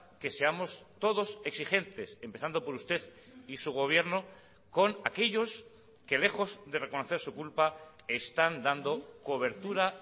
que seamos todos exigentes empezando por usted y su gobierno con aquellos que lejos de reconocer su culpa están dando cobertura